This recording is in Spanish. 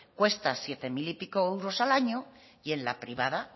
cuesta siete mil y pico euros en la privada